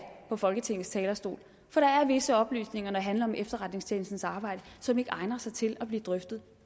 fra folketingets talerstol for der er visse oplysninger når det handler om efterretningstjenestens arbejde som ikke egner sig til at blive drøftet